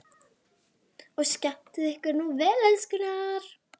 Og skemmtið ykkur nú vel, elskurnar!